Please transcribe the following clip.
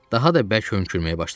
Daha da bərk hönkürməyə başladı.